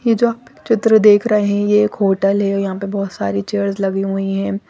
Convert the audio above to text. ये जो आप चित्र देख रहे हैं ये एक होटल है यहाँ पे बहुत सारे चेयर्स लगी हुई है।